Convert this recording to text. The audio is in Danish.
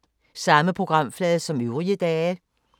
Samme programflade som øvrige dage